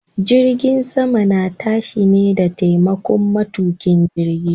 Jirgin sama na tashi ne da taimakon matuƙin jirgi.